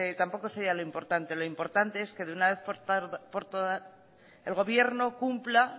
tampoco sería lo importante lo importante es que de una vez por todas el gobierno cumpla